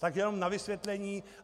Tak jenom na vysvětlení.